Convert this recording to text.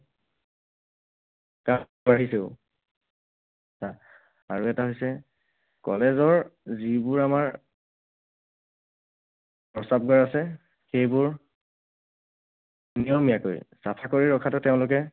আৰু এটা হৈছে, college ৰ যিবোৰ আমাৰ প্ৰস্ৰাৱগাৰ আছে, সেইবোৰ নিয়মীয়াকৈ চাফা কৰি ৰখাটো তেওঁলোকে